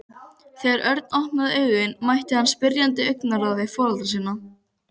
Ef þú gætir nú bara hreinsað minn auma æviveg.